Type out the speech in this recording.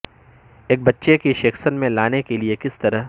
ایک بچے کے سیکشن میں لانے کے لئے کس طرح